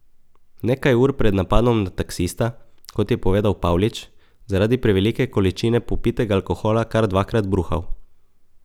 Nekaj ur pred napadom na taksista je, kot je povedal Pavlič, zaradi prevelike količine popitega alkohola kar dvakrat bruhal.